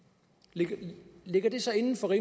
ligger ligger det så inden for